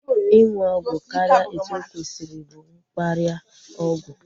Ịṅụ ọgwụ karịa etu okwesiri bụ mkparịa ọgwụ